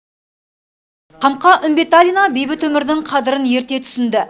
қамқа үмбеталина бейбіт өмірдің қадірін ерте түсінді